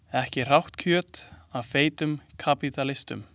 Ekki hrátt kjöt af feitum kapítalistum.